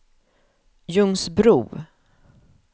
Ljungsbro